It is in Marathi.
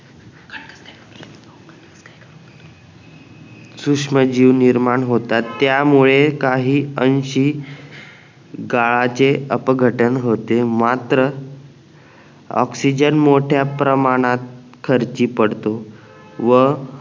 सुश्म जीव निर्माण होतात त्यामुळे काही अंशी गाळाचे अपघटन होते मात्र ऑक्सिजन मोठ्या प्रमाणात खर्ची पडतो व